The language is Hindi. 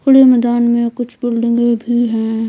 खुले मैदान में कुछ बिल्डिंगे भी हैं।